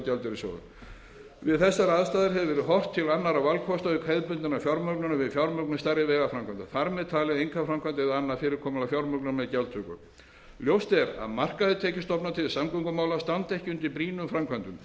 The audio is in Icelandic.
þessar aðstæður hefur verið horft til annarra valkosta auk hefðbundinnar fjármögnunar við fjármögnun stærri vegaframkvæmda þar með talið einkaframkvæmd eða annað fyrirkomulag fjármögnunar með gjaldtöku ljóst er að markaðir tekjustofnar til samgöngumála standa ekki undir brýnum framkvæmdum því